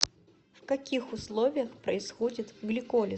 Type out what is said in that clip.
в каких условиях происходит гликолиз